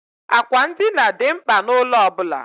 Àkwà ndina dị mkpa n'ụlọ ọ bụla.